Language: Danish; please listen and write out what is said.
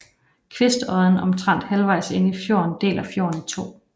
Kvistodden omtrent halvvejs inde i fjorden deler fjorden i to